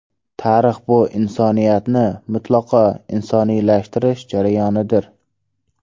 Tarix bu insoniyatni mutlaqo insoniylashtirish jarayonidir.